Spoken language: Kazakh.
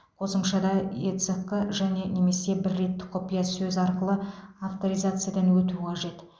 қосымшада эцқ және немесе бір реттік құпия сөз арқылы авторизациядан өту қажет